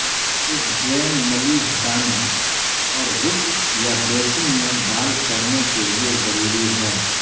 اس drain نلی ہٹانے اور غسل یا بیسن میں ڈال کرنے کے لئے ضروری ہے